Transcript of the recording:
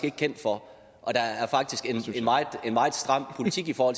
ikke kendt for og der er faktisk et meget stram politik for